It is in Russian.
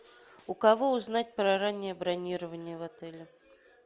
у кого узнать про раннее бронирование в отеле